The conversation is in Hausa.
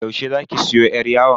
Yaushe zaki siyo yar yawon?